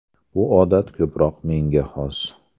Bu odat ko‘proq menga xos.